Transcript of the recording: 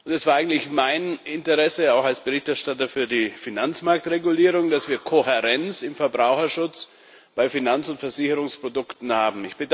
Es war eigentlich mein Interesse, auch als Berichterstatter für die Finanzmarktregulierung, dass wir Kohärenz im Verbraucherschutz bei Finanz und Versicherungsprodukten haben.